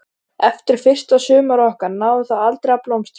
Eftir fyrsta sumarið okkar náði það aldrei að blómstra.